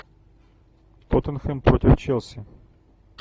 тоттенхэм против челси